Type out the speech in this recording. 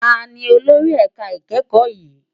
Tàní ólóri èká ikèékò yin?